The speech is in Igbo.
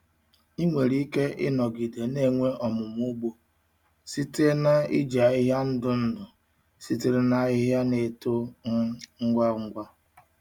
Ị nwere ike ịnọgide na-enwe ọmụmụ ugbo site na iji ahịhịa ndụ ndụ sitere na ahịhịa na-eto um ngwa ngwa.